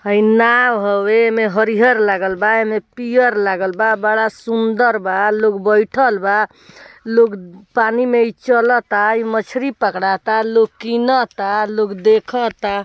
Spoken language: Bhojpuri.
हई नाओ हउवे। एमे हरिहर लागल बा। एमे पियर लागल बा बड़ा सुंदर बा लोग बइठल बा। लोग पानी में इ चलता। इ मछरी पकड़ाता लोग किनता लोग देखता।